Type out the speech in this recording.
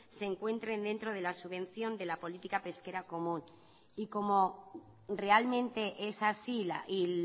se encuentren dentro de la subvención de la política pesquera común y como realmente es así y